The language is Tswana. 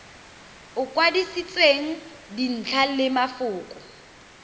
o kwadisitsweng dintlha le mafoko